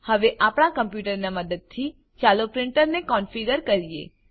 હવે આપણા કમ્પ્યુટરની મદદથી ચાલો પ્રીંટરને કોનફીગર કરીએ